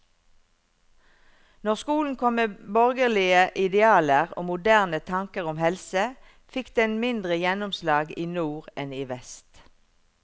Når skolen kom med borgerlige idealer og moderne tanker om helse, fikk den mindre gjennomslag i nord enn i vest.